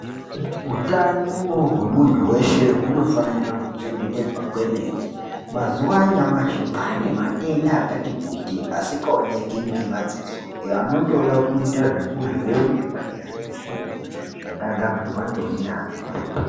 Hutano hwemuntu weshe hunofanira kuchengetedzwa kwemene. Mazuwa anyamashi kwaane matenda akati kuti asikaoneki ngemadziso anotoda kuita zvekuvhenekwa ngezvimuchini zvakagadzirwa ngeunyanzvi.